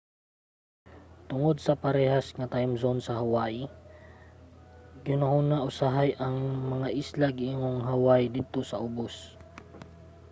tungod sa parehas nga timezone sa hawaii gihunahuna usahay ang mga isla ingong hawaii didto sa ubos